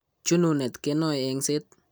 Chununet kenoe eng'set.